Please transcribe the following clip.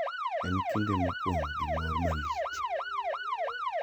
En kinde mopong` gi mor malich.